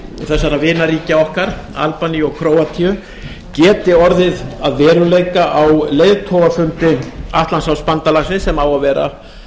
þessara vinaríkja okkar albaníu og króatíu geti orðið að veruleika á leiðtogafundi atlantshafsbandalagsins sem á að vera